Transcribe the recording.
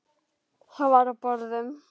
Þar var á borðum